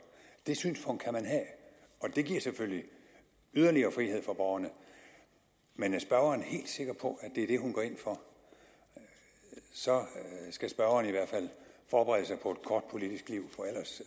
det synspunkt kan man have og det giver selvfølgelig yderligere frihed for borgerne men er spørgeren helt sikker på at det er det hun går ind for så skal spørgeren i hvert fald forberede